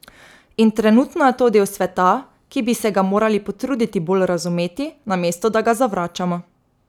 In trenutno je to del sveta, ki bi se ga morali potruditi bolj razumeti, namesto da ga zavračamo.